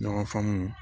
Ɲɔgɔn faamu